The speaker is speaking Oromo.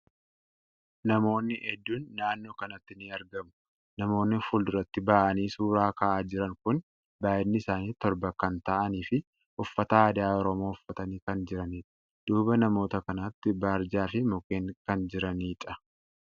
Namootni hedduun naannoo kanatti ni argamu. Namootni fuurduratti bahanii suuraa ka'aa jiran kuni baay'inni isaanii torba kan ta'anii fi uffata aadaa Oromoo uffatanii kan jiraniidha. Duuba namoota kanaatti barjaa fi mukkeen kan jiraniidha.